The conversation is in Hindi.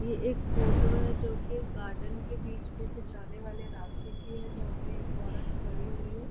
ये एक फोटो है जोकि गार्डन के बीच में से जाने वाले राश्ते की है जहाँ पे एक औरत खड़ी हुई है।